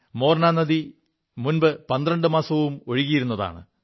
മോർനാ നദി മുമ്പ് പന്ത്രണ്ടു മാസവും ഒഴുകിയിരുതാണ്